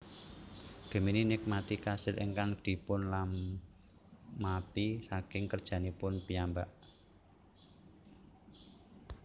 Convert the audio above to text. Gemini nikmati kasil ingkang dipunlamaphi saking kerjanipun piyambak